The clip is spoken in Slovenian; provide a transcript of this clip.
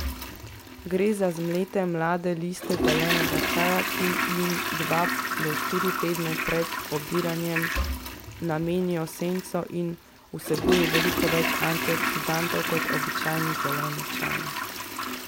Gre za zmlete mlade listke zelenega čaja, ki jim dva do štiri tedne pred obiranjem namenijo senco in vsebuje veliko več antioksidantov kot običajni zeleni čaj.